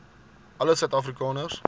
alle suid afrikaners